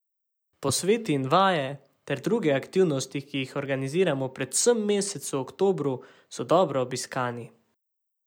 Posveti in vaje ter druge aktivnosti, ki jih organiziramo predvsem v mesecu oktobru, so dobro obiskani.